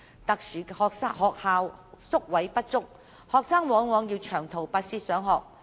特殊學校宿位不足，學生往往要長途跋涉上學。